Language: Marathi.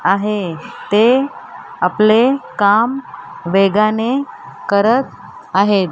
आहे ते आपले काम वेगाने करत आहेत.